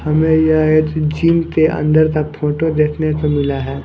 हमें यह एक जिम के अंदर का फोटो देखने को मिला है।